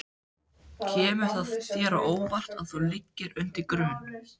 Kemur það þér á óvart að þú liggir undir grun?